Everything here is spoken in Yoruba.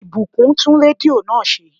Ìbùkún tún rédíò náà ṣe